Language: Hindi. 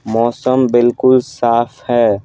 मौसम बिल्कुल साफ है ।